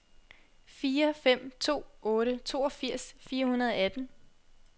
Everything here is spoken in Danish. fire fem to otte toogfirs fire hundrede og atten